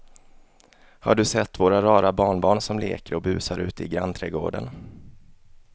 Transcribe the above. Har du sett våra rara barnbarn som leker och busar ute i grannträdgården!